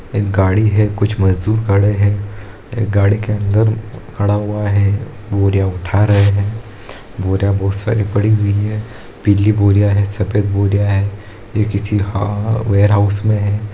एक गाड़ी है कुछ मजदूर है एक गाड़ी के अंदर खड़ा हुआ है बोरियां उठा रहा है बोरियां बहुत सारी पड़ी हुई है पीली बोरियां हैं सफेद बोरियां हैं ये किसी ह वेयरहाउस में है।